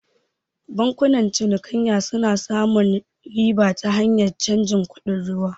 Bankunan cinikayya suna samun riba ta hanyar cajin kuɗin ruwa